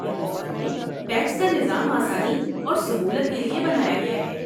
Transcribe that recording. ہندوستان میں ٹیکس کا نظام آسانی اور سہولت کے لیے بنایا گیا ہے۔